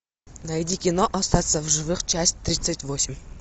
найди кино остаться в живых часть тридцать восемь